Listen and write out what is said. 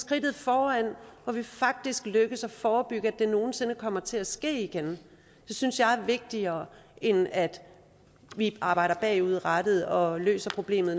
trinnet foran så det faktisk lykkes at forebygge at det nogen sinde kommer til at ske igen det synes jeg er vigtigere end at vi arbejder bagudrettet og løser problemet